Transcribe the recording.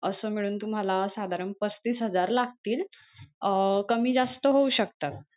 असं मिळून तुम्हाला साधारण पस्तीस हजार लागतील अं कमी जास्त ओहू शकत.